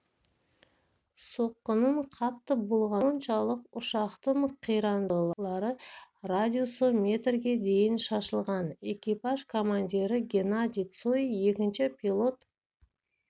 соққының қатты болғаны соншалық ұшақтың қирандылары радиусы метрге дейін шашылған экипаж командирі геннадий цой екінші пилот